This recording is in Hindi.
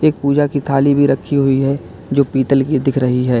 पूजा की थाली भी रखी हुई है जो पीतल की दिख रही है।